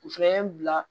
U fɛnɛ ye n bila